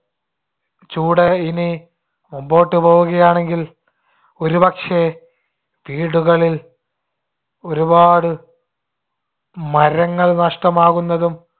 ചൂട് ഇനി മുൻപോട്ട് പോവുകയാണെങ്കിൽ ഒരുപക്ഷെ വീടുകളിൽ ഒരുപാടു മരങ്ങൾ നഷ്‌ടമാകുന്നതും